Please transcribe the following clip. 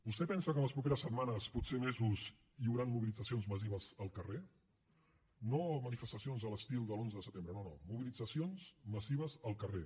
vostè pensa que les properes setmanes potser mesos hi hauran mobilitzacions massives al carrer no manifestacions a l’estil de l’onze de setembre no no mobilitzacions massives al carrer